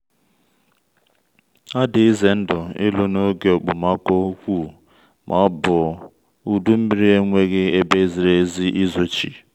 ọ dị ize ndụ ịlụ n’oge okpomọkụ ukwuu ma ọ bụ udu nmiri enweghị ebe ziri ezi izochi.